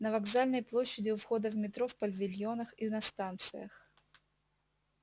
на вокзальной площади у входа в метро в павильонах и на станциях